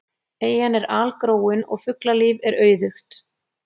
Eyjan er algróin og fuglalíf er auðugt.